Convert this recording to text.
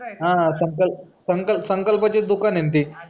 हां, हां संकल्प संकल्पचे दुकानं आहेत ती